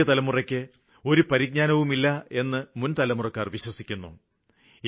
പുതിയ തലമുറയ്ക്ക് ഒരു പരിജ്ഞാനവുമില്ലയെന്ന് മുന്തലമുറക്കാര് വിശ്വസിക്കുന്നു